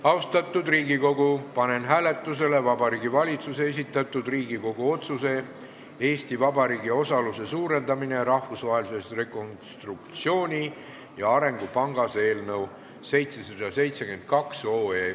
Austatud Riigikogu, panen hääletusele Vabariigi Valitsuse esitatud Riigikogu otsuse "Eesti Vabariigi osaluse suurendamine Rahvusvahelises Rekonstruktsiooni- ja Arengupangas" eelnõu.